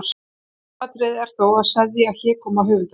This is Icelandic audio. Aðalatriðið er þó að seðja hégóma höfundar.